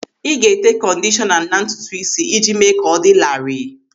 Ị ga-ete kọndishọna na ntutuisi iji mee ka ọ dị larịị.